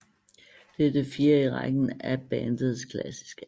Det er det fjerde i rækken af bandets klassiske album